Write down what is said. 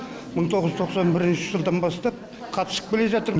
мың тоғыз жүз тоқсан бірінші жылдан бастап қатысып келе жатырм